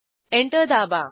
enter दाबा